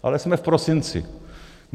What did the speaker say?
Ale jsme v prosinci.